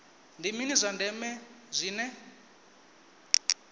ndi mini zwa ndeme zwine